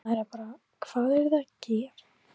Maður er bara, hvað eruð þið að gera?